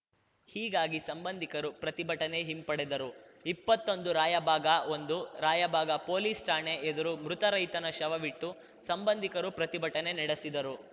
ಹೀಗಾಗಿ ಸಂಬಂಧಿಕರು ಪ್ರತಿಭಟನೆ ಹಿಂಪಡೆದರು ಇಪ್ಪತ್ತೊಂದುರಾಯಬಾಗಒಂದು ರಾಯಬಾಗ ಪೊಲೀಸ್‌ ಠಾಣೆ ಎದುರು ಮೃತ ರೈತನ ಶವವಿಟ್ಟು ಸಂಬಂಧಿಕರು ಪ್ರತಿಭಟನೆ ನಡೆಸಿದರು